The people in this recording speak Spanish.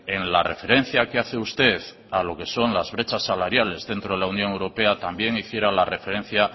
en la referencia que hace usted a lo que son las brechas salariales dentro de la unión europea también hiciera la referencia